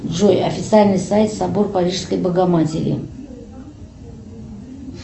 джой официальный сайт собор парижской богоматери